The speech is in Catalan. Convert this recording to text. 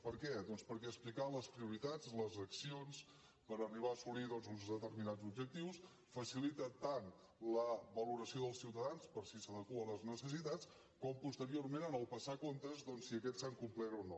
per què doncs perquè explicar les prioritats les accions per arribar a assolir uns determinats objectius facilita tant la valoració dels ciutadans per si s’adeqüen a les necessitats com posteriorment en passar comptes si aquests s’han complert o no